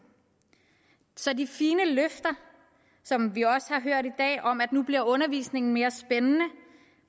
så de fine løfter som vi også har hørt i dag om at nu bliver undervisningen mere spændende